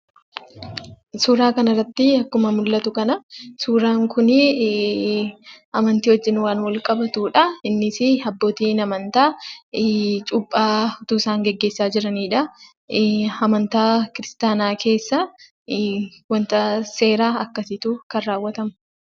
Suuraa kanarratti akkuma mul'atu kana suuraan kun amantii wajjin waan wal qabatudha. Innis abbootiin amantaa cuuphaa osoo isaan gaggeessaa jiranidha. Amantaa kiristaanaa keessaa wanta seera akkasiitu kan raawwatamudha.